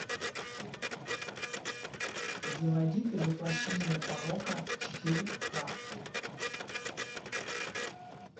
заводи ты воплощение порока четыре ка